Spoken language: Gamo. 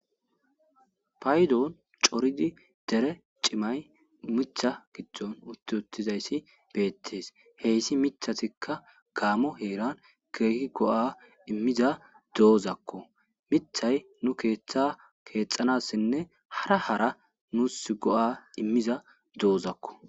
paydon coridi dere cimay mitha gidon utti uttizayssi beettees heyssi mithatikka gaamo heeran keehi go7a immiza do7ozakko mithay nu keeththa keexxanassinne hara hara nus go7a immiza do7ozakko